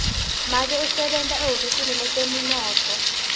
make usebenta ehhovisi letemnotfo